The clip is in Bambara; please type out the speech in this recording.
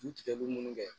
Du tigɛ bɛ munnu kɛ